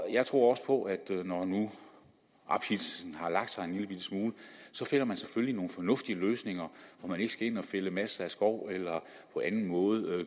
jeg tror også på at når nu ophidselsen har lagt sig en lillebitte smule så finder man selvfølgelig nogle fornuftige løsninger så man ikke skal ind at fælde masser af skov eller på anden måde